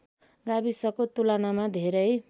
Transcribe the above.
गाविसको तुलनामा धेरै